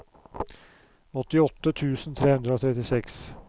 åttiåtte tusen tre hundre og trettiseks